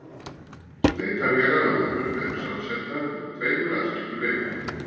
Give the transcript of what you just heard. Leitarvélar á vefnum eru samsettar úr tveimur aðskildum einingum.